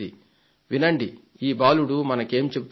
వినండి ఈ బాలుడు మనకేం చెబుతున్నాడో